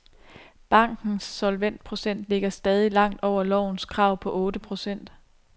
Bankens solvensprocent ligger stadig langt over lovens krav på otte procent.